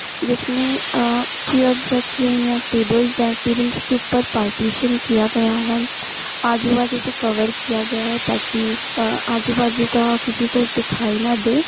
जिसमें अअ चेयर्स रखी हुई हैं टेबल्स हैं। टेबल्स के ऊपर पार्टिशन किया गया है आजूबाजू से कवर किया गया है ताकि अ आजूबाजू का किसी को दिखाई ना दे--